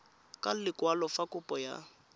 ka lekwalo fa kopo ya